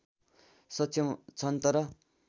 सक्षम छन् तर